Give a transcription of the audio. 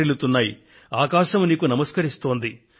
పర్వతాలు గగనతలం ఈ దేశం నీకు ప్రణమిల్లుతున్నాయి